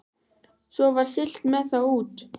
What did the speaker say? Svo var siglt með þá út.